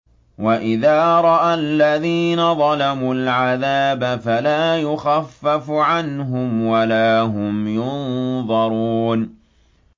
وَإِذَا رَأَى الَّذِينَ ظَلَمُوا الْعَذَابَ فَلَا يُخَفَّفُ عَنْهُمْ وَلَا هُمْ يُنظَرُونَ